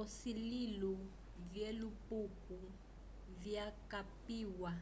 asulilo vyelupuko vyakapiwa